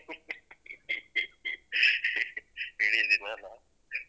ಇಡಿ ದಿನ ಅಲ್ಲ ಅ.